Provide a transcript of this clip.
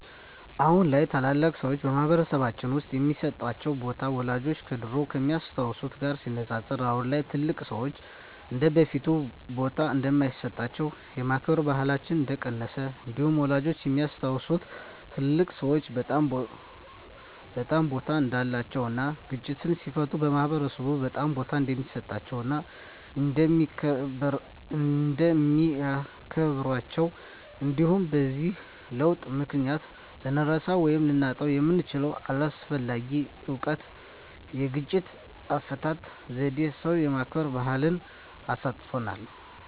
አሁን ላይ ታላላቅ ሰዎች በማህበረሰልባችን ውስጥ የሚሰጣቸው ቦታ ወላጆቻችን ከድሮው ከሚያስታውት ጋር ሲነፃፀር አሁን ላይ ትልልቅ ሰዎች እንደበፊቱ ቦታ እንደማይሰጣቸውና የማክበር ባህላችን እንደቀነሰ እንዲሁም ወላጆቻችን የሚያስታውሱት ትልልቅ ሰዎች በጣም ቦታ እንዳላቸው እና ግጭትን ሲፈቱ ማህበረሰብ በጣም ቦታ እንደሚሰጣቸው እና እንደሚያከብራቸው እንዲሁም በዚህ ለውጥ ምክንያት ልንረሳው ወይም ልናጣው የምንችለው አስፈላጊ እውቀት የግጭት አፈታት ዜዴን ሰው የማክበር ባህልን አሳጥቶናል።